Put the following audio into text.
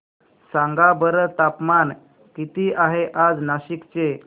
सांगा बरं तापमान किती आहे आज नाशिक चे